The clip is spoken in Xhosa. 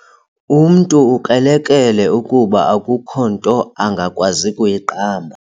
Umntu ukrelekrele kuba akukho nto angakwazi kuyiqamba.